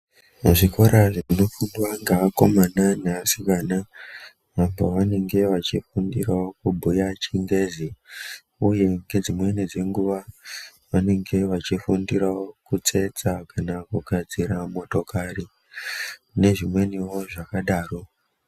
Mu zvikora zve fundo dze akomana ne vasikana apo vanenge vachi fundira kubhuya chingezi uye nge dzimweni dzenguva vanenge vei fundira kutsetsa kana kugadzira motokari ne zvimweniwo zvakadaro.